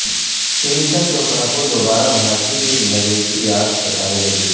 پرینکاچوپڑا کو دوبارہ بھارتی فلم نگری کی یاد ستانے لگی